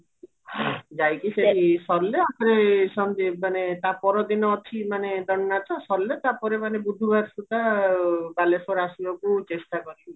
ଯାଇକି ସେଇ ସରିଲେ ତାପରେ ମାନେ ତାପରଦିନ ଅଛି ଦଣ୍ଡ ନାଚ ସରିଲେ ତାପରେ ମାନେ ବୁଧବାର ସୁଧା ବାଲେଶ୍ଵର ଆସିବାକୁ ଚେଷ୍ଟା କରିବି